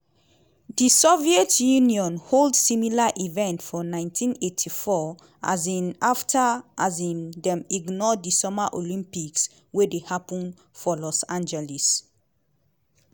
di soviet union hold similar event for 1984 um afta um dem ignore di summer olympics wey happun for los angeles.